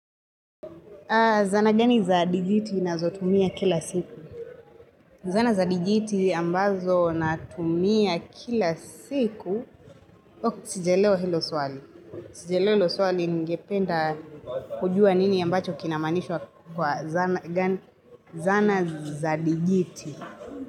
Zana gani za dijiti nazotumia kila siku? Zana za dijiti ambazo na tumia kila siku. Oh, sijaelewa hilo swali. Sijaelewa hilo swali ningependa kujua nini ambacho kinamanishwa kwa zana za dijiti.